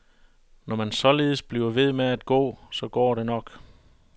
Når man således bliver ved med at gå, så går det nok.